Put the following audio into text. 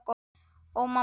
Ó, mamma mín.